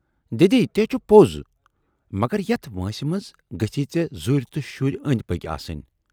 ""دٮ۪دی تہِ ہے چھُ پوز مگر یتھ وٲنسہِ منز گٔژھی ژے ذُرۍ تہٕ شُرۍ ٲندۍ پٔکۍ آسٕنۍ۔